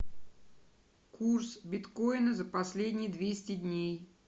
курс биткоина за последние двести дней